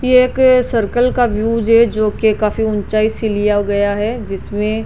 ये कोई सर्कल का व्यू है जो कोई काफी ऊंचाई से लिया गैया है जिसमें --